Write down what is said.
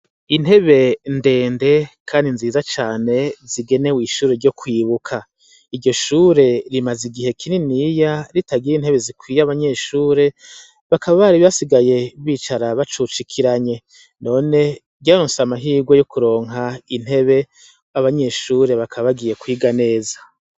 Intebe ndende kandi nziza cane zigenewe ishure ryo kwibuka. Iryo shure rimaze igihe kininiya ritagira intebe zikwiye abanyeshure, bakaba bari basigaye bicara bacucikiranye. None ryaronse amahigwe yo kuronka intebe, abanyeshure bakaba bagiye kwiga neza.